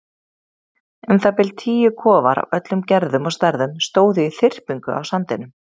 Um það bil tíu kofar af öllum gerðum og stærðum stóðu í þyrpingu á sandinum.